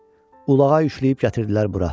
Ulağa yükləyib gətirdilər bura.